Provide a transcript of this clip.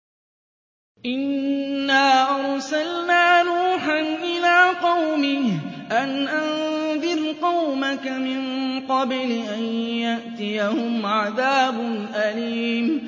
إِنَّا أَرْسَلْنَا نُوحًا إِلَىٰ قَوْمِهِ أَنْ أَنذِرْ قَوْمَكَ مِن قَبْلِ أَن يَأْتِيَهُمْ عَذَابٌ أَلِيمٌ